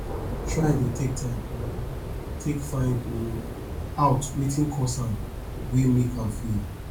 try dey take time um take find um out wetin cause am wey mek am fail